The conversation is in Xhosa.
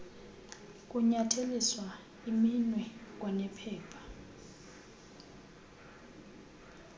kunyatheliswa iminwe kwanephepha